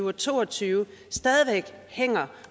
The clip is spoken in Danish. og to og tyve stadig væk hænger